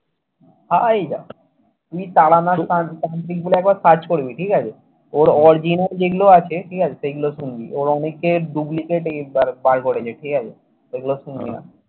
ভাই! তুই তারানাথ তান্ত্রিক একবার search করবি ঠিক আছে? ওর original যেগুলো আছে ঠিক আছে? সেগুলো শুনবি। ওর অনেকের duplicate এই বার করেছে। ঠিক আছে এগুলো শুনবি।